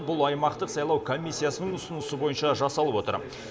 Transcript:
бұл аймақтық сайлау комиссиясының ұсынысы бойынша жасалып отыр